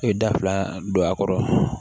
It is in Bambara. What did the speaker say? I ye da fila don a kɔrɔ